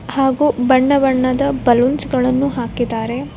ಹಾಗೂ ಬಣ್ಣ ಬಣ್ಣದ ಬಲೂನ್ಸ್‌ಗಳನ್ನು ಹಾಕಿದ್ದಾರೆ.